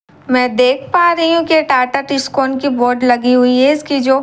मैं देख पा रही हूँ की टाटा टिस्कोन की बोर्ड लगी हुई है इसकी जो रंग --